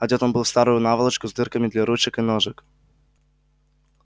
одет он был в старую наволочку с дырками для ручек и ножек